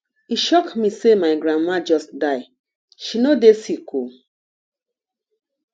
e shock me sey my grandmama just die she no dey sick o